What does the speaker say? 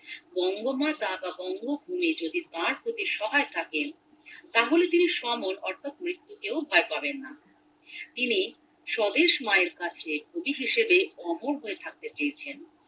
বঙ্গমাতা বা বঙ্গভূমি যদি তার প্রতি সহায় থাকেন তাহলে তিনি সমর অর্থাৎ মৃত্যুকেও ভয় পাবেন না তিনি স্বদেশ মায়ের কাছে কবি হিসেবে অমর হয়ে থাকতে চেয়েছেন